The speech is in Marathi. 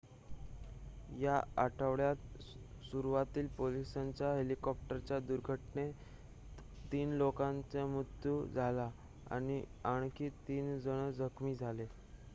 या आठवड्याच्या सुरुवातीला पोलिसांच्या हेलिकॉप्टरच्या दुर्घटनेत 3 लोकांचा मृत्यू झाला आणि आणखी 3 जण जखमी झाले